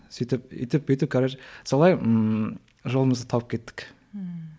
сөйтіп өйтіп бүйтіп солай ммм жолымызды тауып кеттік ммм